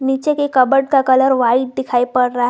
नीचे के कपबोर्ड का कलर व्हाइट दिखाई पड़ रहा है।